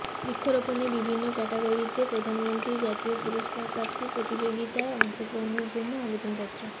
বৃক্ষরোপণে বিভিন্ন ক্যটাগরীতে প্রধানমন্ত্রীর জাতীয় পুরস্কার প্রাপ্তির প্রতিযোগিতায় অংশগ্রহনের জন্য আবেদনপত্র